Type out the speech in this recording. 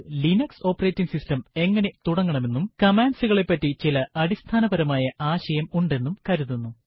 നിങ്ങൾക്ക് Linux operating system എങ്ങനെ തുടങ്ങണമെന്നും commands കളെപ്പറ്റി ചില അടിസ്ഥാനപരമായ ആശയം ഉണ്ടെന്നും കരുതുന്നു